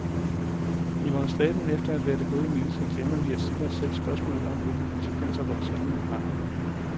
I vores stræben efter at være det gode menneske glemmer vi at stille os selv spørgsmålet om, hvilke konsekvenser vores handlinger har.